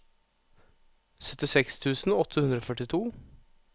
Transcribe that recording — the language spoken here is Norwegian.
syttiseks tusen åtte hundre og førtito